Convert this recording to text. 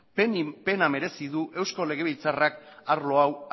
pena merezi du eusko legebiltzarrak arlo hau